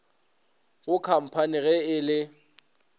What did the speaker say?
go khamphani ge e le